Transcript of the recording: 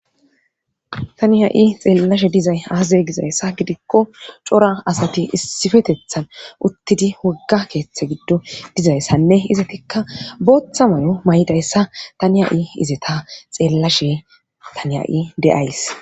Tani ha7i xeellashe dizay aaze gizayssa gidikko cora asati issifetethan uttidi wogga keeththe giddo dizayssanne izetikka booththa may7o may7dayssa tani ha7i izeta xeellashe tani ha7i de7ays.